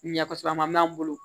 Ɲɛ kosɛbɛ a ma n bolo